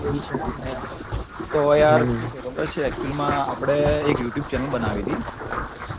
તો યાર શું છે ખબર છે actually માં આપડે એક Youtube channel બનાવી તી